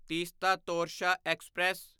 Teesta Torsha express